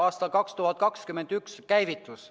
Aasta 2021 on käivitunud.